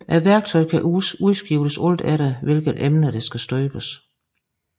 Værktøjet kan udskiftes alt efter hvilket emne der skal støbes